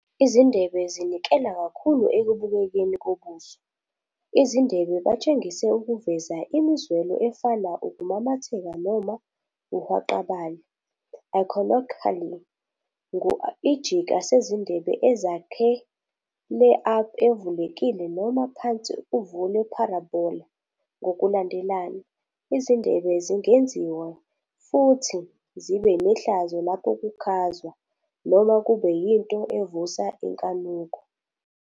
Izindebe zinikela kakhulu ekubukekeni kobuso. Izindebe batshengise ukuveza imizwelo efana ukumamatheka noma uhwaqabale, iconically ngu ijika sezindebe azakhele up-evulekile noma phansi uvule parabola, ngokulandelana. Izindebe zingenziwa futhi zibe nehlazo lapho kukhwazwa, noma kube yinto evusa inkanuko.